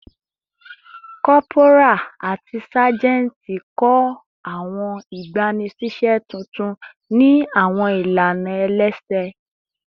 Corporal ati sajenti kọ awọn igbanisiṣẹ tuntun ni awọn ilana ẹlẹsẹ